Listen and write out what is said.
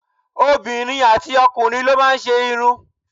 Obìnrin àti ọkùnrin ló má ń ṣe irun